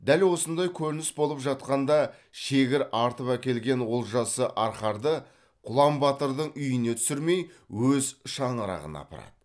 дәл осындай көрініс болып жатқанда шегір артып әкелген олжасы арқарды құлан батырдың үйіне түсірмей өз шаңырағына апарады